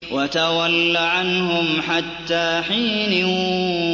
وَتَوَلَّ عَنْهُمْ حَتَّىٰ حِينٍ